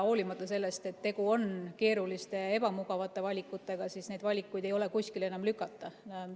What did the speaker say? Hoolimata sellest, et tegu on keeruliste, ebamugavate valikutega, siis neid valikuid ei ole kuskile enam lükata.